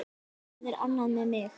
Það er annað með mig.